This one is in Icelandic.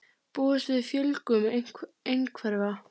Búast við fjölgun einhverfra